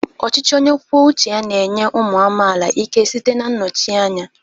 Ọchịchị onye kwuo uche ya na-enye ụmụ amaala ike site na nnọchite anya.